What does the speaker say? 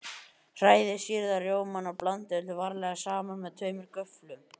Hrærið sýrða rjómann og blandið öllu varlega saman með tveimur göfflum.